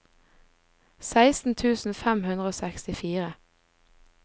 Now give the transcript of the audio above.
seksten tusen fem hundre og sekstifire